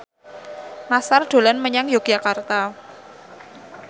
Nassar dolan menyang Yogyakarta